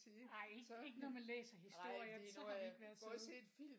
Nej ikke ikke når man læser historier så har vi ikke været søde